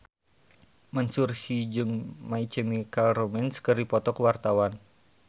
Mansyur S jeung My Chemical Romance keur dipoto ku wartawan